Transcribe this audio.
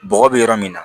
Bɔgɔ bɛ yɔrɔ min na